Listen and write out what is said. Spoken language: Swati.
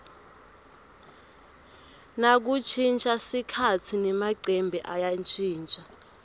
nakushintja sikhatsi nemacembe ayashintja